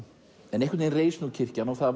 en einhvern veginn reis kirkjan og